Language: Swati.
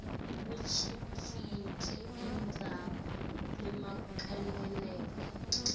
kukhicite indzaba lemukelekako